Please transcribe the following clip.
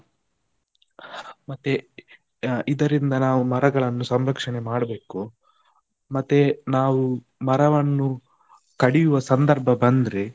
ಮತ್ತೆ ಇದರಿಂದ ನಾವು ಮರಗಳನ್ನು ಸಂರಕ್ಷಣೆ ಮಾಡ್ಬೇಕು, ಮತ್ತೆ ನಾವು ಮರವನ್ನು ಕಡಿಯುವ ಸಂದರ್ಭ ಬಂದ್ರೆ.